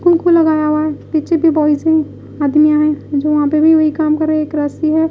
लगाया हुआ है पीछे भी बॉयज है आदमिया है जो वहां पे भी वही काम कर रहे है एक रस्सी हैं।